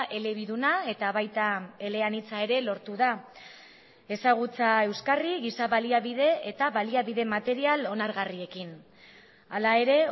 elebiduna eta baita eleanitza ere lortu da ezagutza euskarri giza baliabide eta baliabide material onargarriekin hala ere